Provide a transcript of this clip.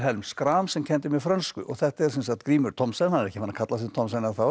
Schram sem kenndi mér frönsku þetta er sem sagt Grímur Thomsen er ekki farinn að kalla sig Thomsen